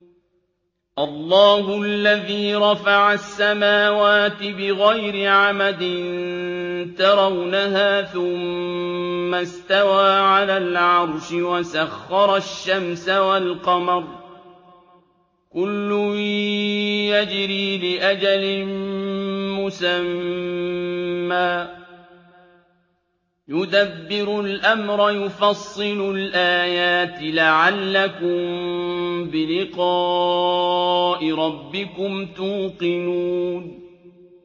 اللَّهُ الَّذِي رَفَعَ السَّمَاوَاتِ بِغَيْرِ عَمَدٍ تَرَوْنَهَا ۖ ثُمَّ اسْتَوَىٰ عَلَى الْعَرْشِ ۖ وَسَخَّرَ الشَّمْسَ وَالْقَمَرَ ۖ كُلٌّ يَجْرِي لِأَجَلٍ مُّسَمًّى ۚ يُدَبِّرُ الْأَمْرَ يُفَصِّلُ الْآيَاتِ لَعَلَّكُم بِلِقَاءِ رَبِّكُمْ تُوقِنُونَ